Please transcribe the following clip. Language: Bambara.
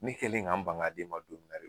Ne kɛlen k'an ban ka d'e ma don min na